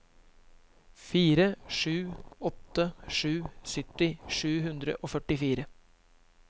fire sju åtte sju sytti sju hundre og førtifire